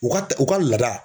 U ka u ka laada.